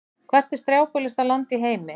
Hvert er strjálbýlasta land í heimi?